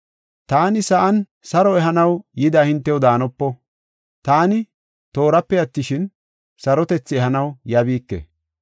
“Taani sa7an saro ehanaw yida hintew daanopo. Taani toorape attishin, sarotethi ehanaw yabiike.